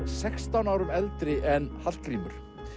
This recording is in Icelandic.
sextán árum eldri en Hallgrímur